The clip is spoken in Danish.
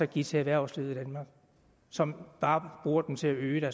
give til erhvervslivet i danmark som bare bruger dem til at øge